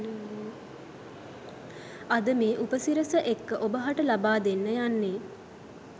අද මේ උපසිරැස එක්ක ඔබ හට ලබා දෙන්න යන්නේ